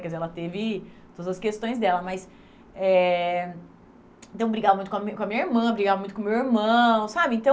Quer dizer, ela teve todas as questões dela, mas... Eh então brigava muito com a minha com a minha irmã, brigava muito com o meu irmão, sabe? Então